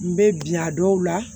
N bɛ bi a dɔw la